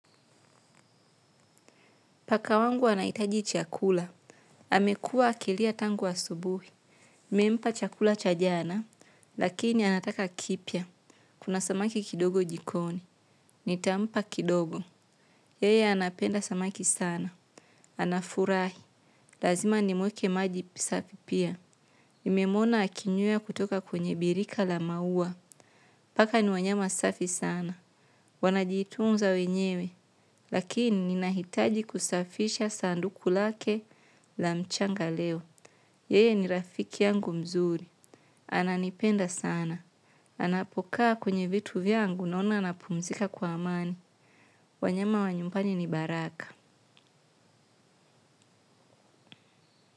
Paka wangu wanahitaji chakula. Amekuwa akilia tangu asubuhi. Nimempa chakula cha jana lakini anataka kipya. Kuna samaki kidogo jikoni. Nitampa kidogo. Yeye anapenda samaki sana. Anafurahi. Lazima nimweke maji pasafi pia. Nimemwona akinywea kutoka kwenye birika la maua. Paka ni wanyama safi sana. Wanajitunza wenyewe. Lakini ninahitaji kusafisha sanduku lake la mchanga leo. Yeye ni rafiki yangu mzuri. Ananipenda sana. Anapokaa kwenye vitu vyangu naona anapumzika kwa amani. Wanyama wa nyumbani ni baraka.